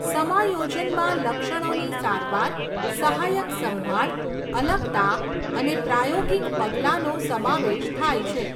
સમાયોજનમાં લક્ષણોની સારવાર, સહાયક સંભાળ, અલગતા અને પ્રાયોગિક પગલાંનો સમાવેશ થાય છે.